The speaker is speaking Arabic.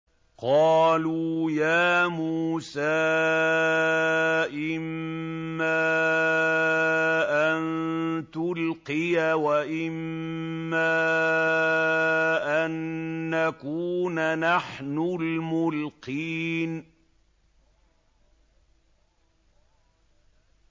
قَالُوا يَا مُوسَىٰ إِمَّا أَن تُلْقِيَ وَإِمَّا أَن نَّكُونَ نَحْنُ الْمُلْقِينَ